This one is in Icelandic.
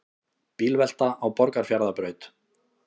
Bílvelta á Borgarfjarðarbraut